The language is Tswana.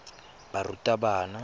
barutabana